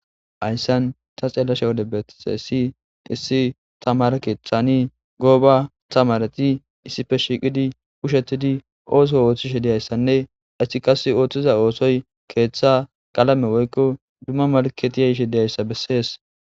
Haysan ta xeellashe wode betixeesi issi tamara keeththani gooba tamarati issife shiiqidi kushettidi ooso ooththishe diyayssanne issi kase ooththiza oosoy keeththa qalame woykko dumma malketiya ishe deyayssa bessees